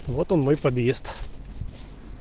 вот он мой подъезд